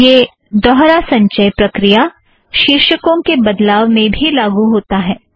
यह दौहरा संचय प्रक्रिया शीर्षकों के बदलाव में भी लागू होता है